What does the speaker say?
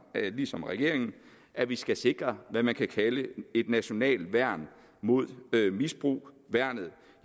lige som regeringen at vi skal sikre hvad man kan kalde et nationalt værn mod misbrug og værnet